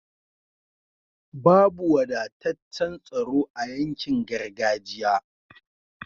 Babu wadataccan tsaro a yankin gargajiya